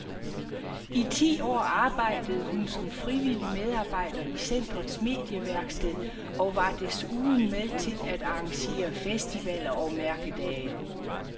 I ti år arbejdede hun som frivillig medarbejder i centrets medieværksted og var desuden med til at arrangere festivaler og mærkedag.